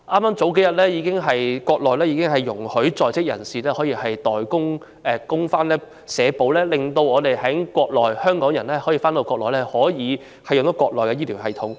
數天前，國內已容許在內地就業的港澳台人士參加社會保險供款計劃，讓港人也可以使用國內的醫療系統。